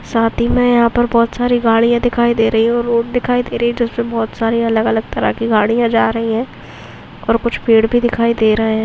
साथ हि मे यहापर बहुत सारी गाडिया दिखाई दे रही हू रोड दिखाई दे रही जिसपे बहुत सारी अलग अलग तरह कि गाडिया जा रही है और कूच पेड भी दिखाई दे रहा है।